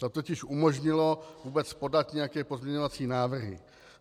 To totiž umožnilo vůbec podat nějaké pozměňovací návrhy.